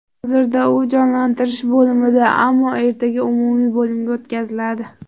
Hozirda u jonlantirish bo‘limida, ammo ertaga umumiy bo‘limga o‘tkaziladi.